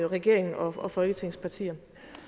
regeringen og folketingets partier